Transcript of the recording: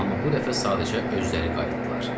Amma bu dəfə sadəcə özləri qayıtdılar.